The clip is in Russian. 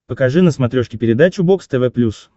покажи на смотрешке передачу бокс тв плюс